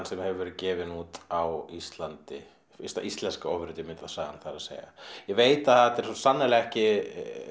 sem hefur verið gefin út á Íslandi fyrsta íslenska það er að segja ég veit að þetta eru sannarlega ekki